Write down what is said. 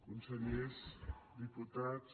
consellers diputats